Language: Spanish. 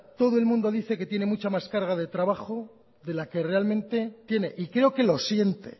todo el mundo dice que tiene mucha más carga de trabajo de la que realmente tiene y creo que lo siente